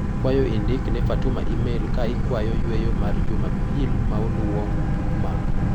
Akwayo indik ne Fatuma imel ka ikwayo yueyo mar juma pil maluwo ma.